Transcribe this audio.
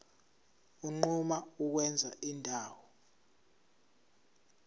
unquma ukwenza indawo